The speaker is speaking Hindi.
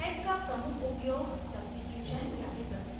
sed का प्रमुख उपयोग substitution यानी प्रतिस्थापन है